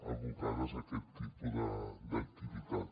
abocades a aquest tipus d’activitat